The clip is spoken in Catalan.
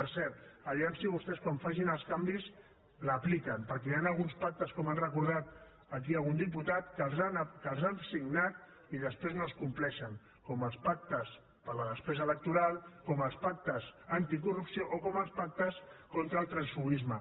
per cert a veure si vostès quan facin els canvis els apliquen perquè hi han alguns pactes com ha recordat aquí algun diputat que els han signat i després no els compleixen com els pactes per la despesa electoral com els pactes anticorrupció o com els pactes contra el transfuguisme